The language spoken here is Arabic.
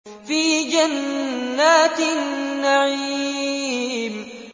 فِي جَنَّاتِ النَّعِيمِ